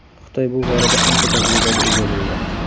Xitoy bu borada ancha tajribaga ega bo‘ldi.